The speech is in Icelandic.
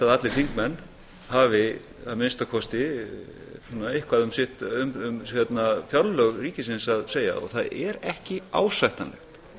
að allir þingmenn hafi að minnsta kosti eitthvað um fjárlög ríkisins að segja og það er ekki ásættanlegt